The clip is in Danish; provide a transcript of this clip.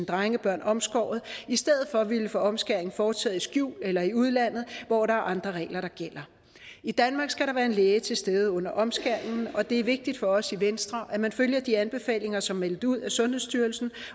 drengebørn omskåret i stedet for ville få omskæringen foretaget i skjul eller i udlandet hvor der gælder andre regler i danmark skal der være en læge til stede under omskæringen og det er vigtigt for os i venstre at man følger de anbefalinger som er meldt ud af sundhedsstyrelsen